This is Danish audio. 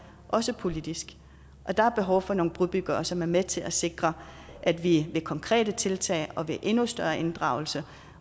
også politisk og der er behov for nogle brobyggere som er med til at sikre at vi med konkrete tiltag og ved endnu større inddragelse